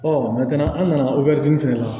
an nana fɛnɛ la